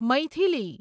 Maithili